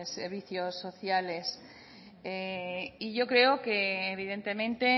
servicios sociales y yo creo que evidentemente